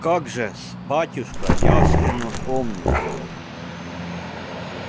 как же-с батюшка явственно помню